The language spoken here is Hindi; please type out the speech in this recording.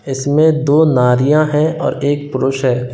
इसमे दो नारियां है और एक पुरुष है।